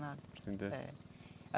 Nada. É.